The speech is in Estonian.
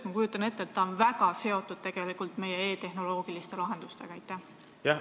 Ma kujutan ette, et see projekt on väga seotud meie e-tehnoloogiliste lahendustega?